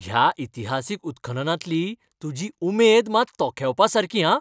ह्या इतिहासीक उत्खननांतली तुजी उमेद मात तोखेवपासारकी, हां.